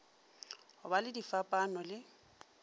go ba le difapano le